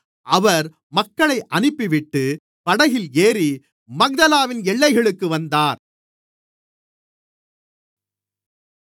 அவர் மக்களை அனுப்பிவிட்டு படகில் ஏறி மக்தலாவின் எல்லைகளுக்கு வந்தார்